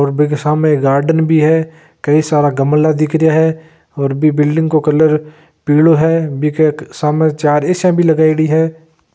स्टेचू बनायेड़ो है और बीके सामे एक गार्डन भी है कई सारा गमला दिख रहा है ओर बी बिल्डिंग को कलर पिलो है बी के सामें चार --